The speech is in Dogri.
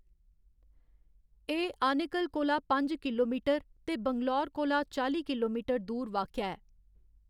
एह्‌‌ आनेकल कोला पंज किलोमीटर ते बैंगलोर कोला चाली किलोमीटर दूर वाक्या ऐ।